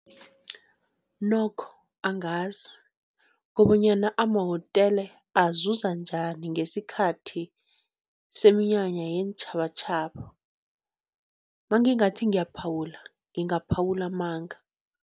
Nokho angazi kobonyana amahotele azuza njani ngesikhathi seminyanya yeentjhabatjhaba, mangingathi ngiyaphawula ngingaphawula amanga.